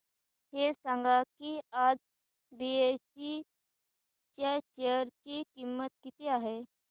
हे सांगा की आज बीएसई च्या शेअर ची किंमत किती आहे